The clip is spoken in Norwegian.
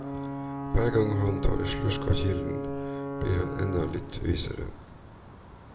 Hver gang han tar en slurk av kilden, blir han enda litt visere.